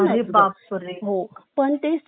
पण ते CCTV camera हा